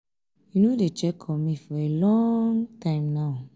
you no dey check on me for a long um time now?